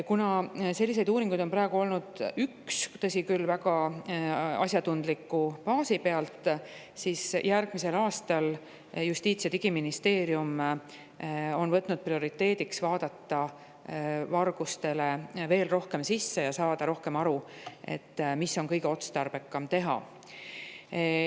Kuna selliseid uuringuid on praegu tehtud vaid üks – tõsi küll, väga asjatundliku baasi pealt –, siis järgmisel aastal on Justiits‑ ja Digiministeeriumi prioriteediks see, et vaadata vargustesse veel rohkem sisse ja saada rohkem aru, mida on kõige otstarbekam teha.